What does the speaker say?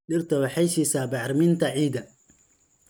Dhirtu waxay siisaa bacriminta ciidda.